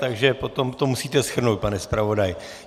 Takže potom to musíte shrnout, pane zpravodaji.